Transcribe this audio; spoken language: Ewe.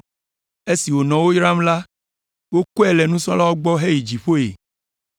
Esi wònɔ wo yram la, wokɔe le nusrɔ̃lawo gbɔ heyi dziƒoe.